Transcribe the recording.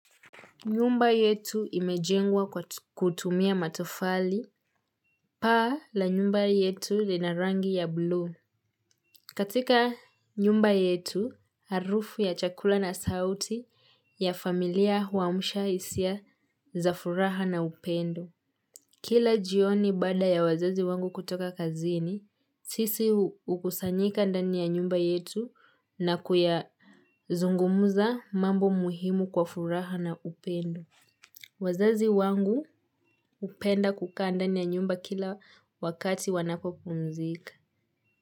Nyumba yetu imejengwa kwa kutumia matofali, paa la nyumba yetu linarangi ya blue. Katika nyumba yetu, harufu ya chakula na sauti ya familia huamsha hisia za furaha na upendo. Kila jioni bada ya wazazi wangu kutoka kazini, sisi hukusanyika ndani ya nyumba yetu na kuyazungumuza mambo muhimu kwa furaha na upendo. Wazazi wangu hupenda kukaa ndan ya nyumba kila wakati wanapopumzika.